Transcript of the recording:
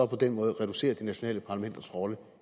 på den måde reducerer de nationale parlamenters rolle